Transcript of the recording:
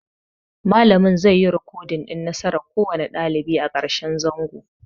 Malamin zai yi ricodin nasaran kowane ɗalibi a ƙarshen zango